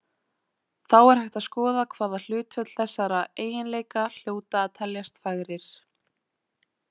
Þá er hægt að skoða hvaða hlutföll þessara eiginleika hljóta að teljast fagrir.